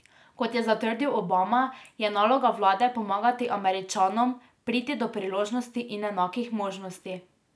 Kot je zatrdil Obama, je naloga vlade pomagati Američanom priti do priložnosti in enakih možnosti.